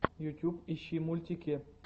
ютюб ищи мультики